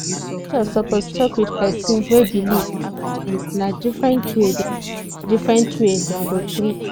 doctor suppose talk with person wey believe and sometimes na different way dem different way dem go treat